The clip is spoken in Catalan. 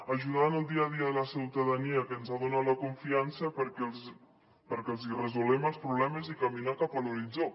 ajudar en el dia a dia la ciutadania que ens ha donat la confiança perquè els hi resolguem els problemes i caminar cap a l’horitzó